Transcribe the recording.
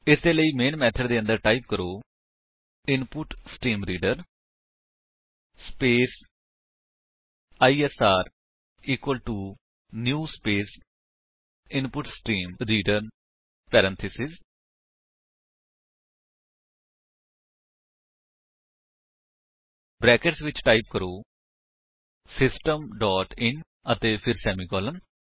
ਇਸਦੇ ਲਈ main method ਦੇ ਅੰਦਰ ਟਾਈਪ ਕਰੋ input stream reader space ISR equal to new space input stream reader parenthesis brackets ਵਿੱਚ ਟਾਈਪ ਕਰੋ ਸਿਸਟਮ ਡੋਟ ਇਨ ਅਤੇ ਫਿਰ ਸੇਮੀਕਾਲਨ